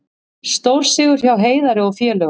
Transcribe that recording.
Stórsigur hjá Heiðari og félögum